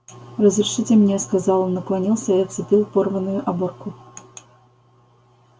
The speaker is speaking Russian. разрешите мне сказал он наклонился и отцепил порванную оборку